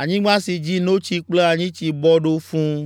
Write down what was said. anyigba si dzi notsi kple anyitsi bɔ ɖo fũu.